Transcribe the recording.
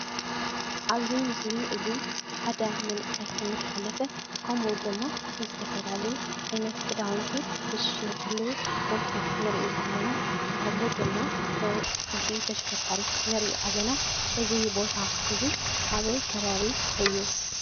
ኣብ እዚ ምስሊ እዚ ሓደ መንእሰይ እናሓለፈ ከምኡ ድማ ዝተፈላላዩ ዓይነት ክዳውንቲ ዝሽየጠሉ ቦታ ንርኢ ኣለና። ከምኡ ድማ ሓንቲ ተሽከርካሪት ንርኢ ኣለና። እዚ ቦታ እዚ ኣበይ ከበቢ እዩ።